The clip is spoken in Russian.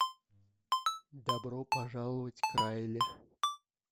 добро пожаловать к райли